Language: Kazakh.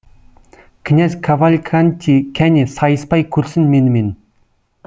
князь кавальканти кәне сайыспай көрсін менімен